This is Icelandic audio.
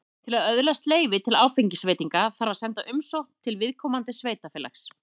Til að öðlast leyfi til áfengisveitinga þarf að senda umsókn til viðkomandi sveitarfélags.